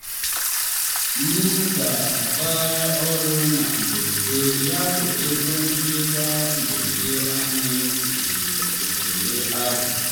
m ga-agbaghara ọrụ na mberede yabụ ego nchekwa mberede anyị kpuchiri oghere ahụ.